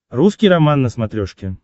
русский роман на смотрешке